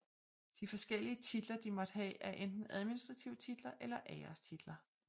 De forskellige titler de måtte have er enten administrative titler eller ærestitler